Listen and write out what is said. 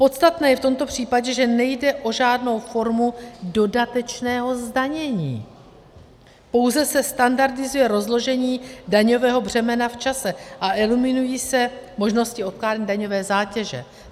Podstatné je v tomto případě, že nejde o žádnou formu dodatečného zdanění, pouze se standardizuje rozložení daňového břemene v čase a eliminují se možnosti odkládání daňové zátěže.